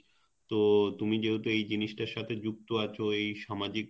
তো তুমি যেহেতু এই জিনিস টার সাথে যুক্ত আছো এই সামাজিক